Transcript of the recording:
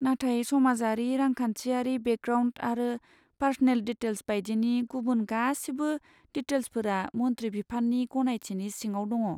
नाथाय समाजारि रांखान्थियारि बेकग्राउन्ड आरो पार्स'नेल डिटेल्स बायदिनि गुबुन गासिबो डिटेल्सफोरा मन्थ्रि बिफाननि गनायथिनि सिङाव दङ।